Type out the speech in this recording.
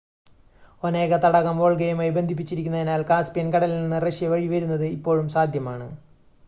Onega തടാകം വോൾഗയുമായി ബന്ധിപ്പിച്ചിരിക്കുന്നതിനാൽ കാസ്‌പിയൻ കടലിൽ നിന്ന് റഷ്യ വഴി വരുന്നത് ഇപ്പോഴും സാധ്യമാണ്